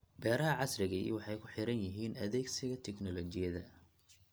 Beeraha casriga ahi waxay ku xidhan yihiin adeegsiga tignoolajiyada.